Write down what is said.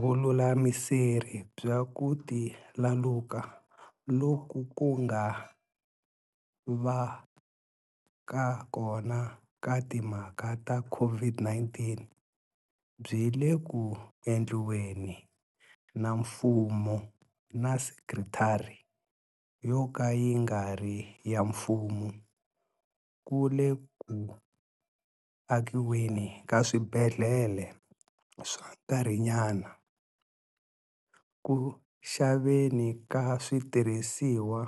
VULULAMISERI BYA KU tlakuka loku ku nga vaka kona ka timhaka ta COVID-19 byi le ku endliweni na mfumo na sekitara yoka yi nga ri ya mfumo ku le ku akiweni ka swibedhlele swa nkarhinyana, ku xaveni ka switirhisiwa